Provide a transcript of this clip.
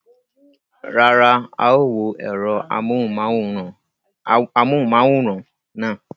Rárá, a ó wo ẹ̀rọ amóhùnmáwòrán náà.